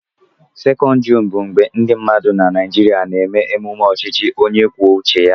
12 Juun bụ mgbe ndị mmadụ na Naịjirịa na-eme mmemme ọchịchị onye kwuo uche ya